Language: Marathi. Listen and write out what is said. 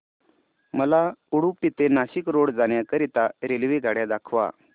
मला उडुपी ते नाशिक रोड जाण्या करीता रेल्वेगाड्या दाखवा